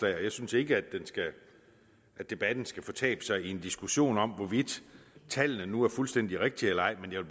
jeg synes ikke at debatten skal fortabe sig i en diskussion om hvorvidt tallene nu er fuldstændig rigtige eller ej men jeg